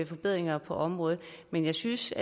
forbedringer på området men jeg synes